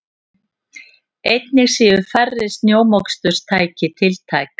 Einnig séu færri snjómoksturstæki tiltæk